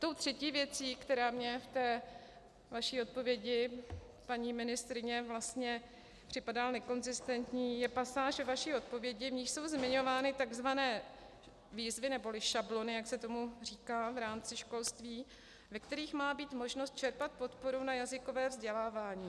Tou třetí věcí, která mě v té vaší odpovědi, paní ministryně, vlastně připadá nekonzistentní, je pasáž vaší odpovědi, v niž jsou zmiňovány takzvané výzvy neboli šablony, jak se tomu říká v rámci školství, ve kterých má být možnost čerpat podporu na jazykové vzdělávání.